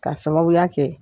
K'a sababuya kɛ